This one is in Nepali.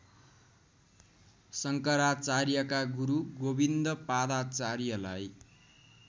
शंकराचार्यका गुरू गोविन्दपादाचार्यलाई